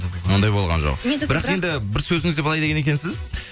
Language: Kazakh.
ондай болған жоқ бірақ енді бір сөзіңізде былай деген екенсіз